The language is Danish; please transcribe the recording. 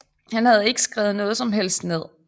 Han havde ikke skrevet noget som helst ned